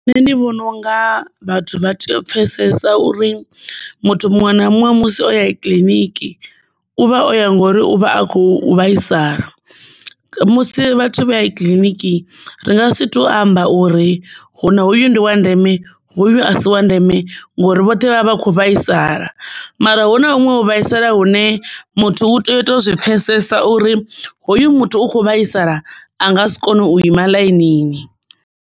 Nṋe ndi vhona unga vhathu pfHesesa uri muthu muṅwe na muṅwe musi o ye kiḽiniki u vha o ya ngori uvha a kho vhaisala, musi vhathu vha ya i kiḽiniki ri nga si to amba uri hu na hoyu ndi wa ndeme hu asi wa ndeme ngori vhoṱhe vha vha kho vhaisala, mara hu na huṅwe u vhaisala hune muthu u tea u to zwi pfhesesa uri hoyu muthu u kho vhaisala a nga si kone u ima ḽainini.